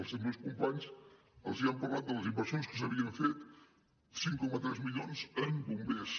els meus companys els han parlat de les inversions que s’havien fet cinc coma tres milions en bombers